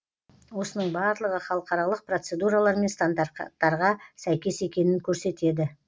осының барлығы халықаралық процедуралар мен стандарттарға сәйкес екенін көрсетеді